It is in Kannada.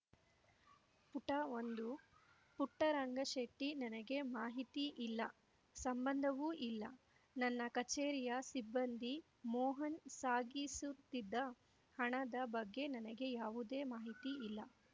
ಪುಟ ಒಂದು ಪುಟ್ಟರಂಗಶೆಟ್ಟಿ ನನಗೆ ಮಾಹಿತಿ ಇಲ್ಲ ಸಂಬಂಧವೂ ಇಲ್ಲ ನನ್ನ ಕಚೇರಿಯ ಸಿಬ್ಬಂದಿ ಮೋಹನ್‌ ಸಾಗಿಸುತ್ತಿದ್ದ ಹಣದ ಬಗ್ಗೆ ನನಗೆ ಯಾವುದೇ ಮಾಹಿತಿ ಇಲ್ಲ